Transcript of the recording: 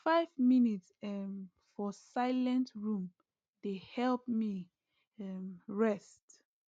five minute um for silent room dey help me um rest